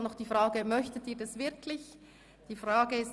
Nun stellen wir noch fest, ob Sie das wirklich möchten.